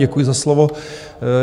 Děkuji za slovo.